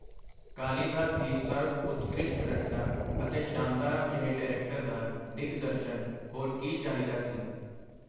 ਕਾਲੀਦਾਸ ਦੀ ਸਰਬ-ਉਤਕ੍ਰਿਸ਼ਟ ਰਚਨਾ, ਅਤੇ ਸ਼ਾਂਤਾਰਾਮ ਜਹੇ ਡਾਇਰੈਕਟਰ ਦਾ ਦਿਗਦਰਸ਼ਨ! ਹੋਰ ਕੀ ਚਾਹੀਦਾ ਸੀ?.